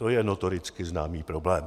To je notoricky známý problém.